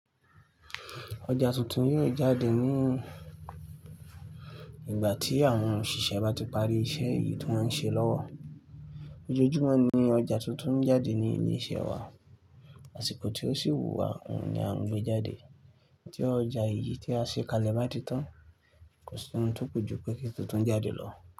Ọjà tuntun náà jáde ní ìgbà tí àwọn òṣìṣẹ́ bá ti parí iṣẹ́ yìí tí wọ́ ń ṣe lọ́wọ́. Ojojúmọ́ ni ọjà tuntun ń jáde ní ilé iṣẹ́ wa, àsìkò tí ó sì wù wá òun ni à ń gbé jáde. Tí ọjà yìí tí a ṣe kalẹ̀ bá ti tán, kò sí ohun tó pọ̀ jù pé kí tuntun jáde lọ.